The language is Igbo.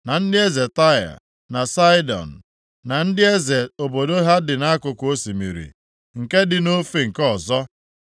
na ndị eze Taịa na Saịdọn, na ndị eze obodo ha dị nʼakụkụ osimiri, nke dị nʼofe nke ọzọ;